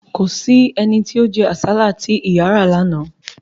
Kò sí ẹni tí ó jẹ́ àsálà tí ìyà ra lánàá